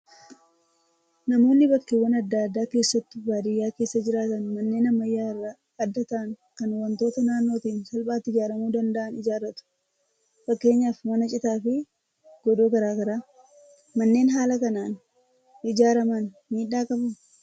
Namoonni bakkeewwan adda addaa keessattuu baadiyyaa keessa jiraatan manneen ammayyaa irraa adda ta'an kan wantoota naannootiin salphaatti ijaaramuu danda'an ijaarratu. Fakkeenyaaf mana citaa fi godoo garaagaraa. Manneen haala kanaan ijaaraman miidhaa qabuu?